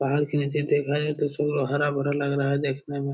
बाहर से नीचे देखा जाए तो सब हरा-भरा लग रहा है देखने में।